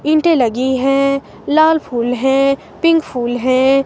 ईंटे लगी हैं लाल फूल है पिंक फूल हैं.